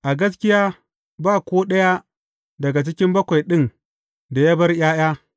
A gaskiya, ba ko ɗaya daga cikin bakwai ɗin da ya bar ’ya’ya.